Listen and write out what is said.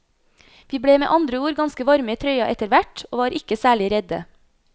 Vi ble med andre ord ganske varme i trøya etterhvert, og var ikke særlig redde.